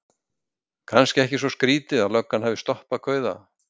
Kannski ekki svo skrýtið að löggan hafi stoppað kauða.